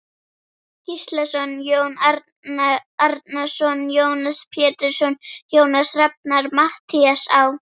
Gíslason, Jón Árnason, Jónas Pétursson, Jónas Rafnar, Matthías Á.